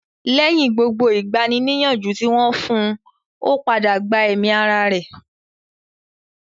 Lẹ́yìn gbogbo ìgbani-nìyànjú tí wọ́n fún un, ó padà gba ẹ̀mí ara rẹ̀